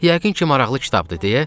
Yəqin ki maraqlı kitabdır,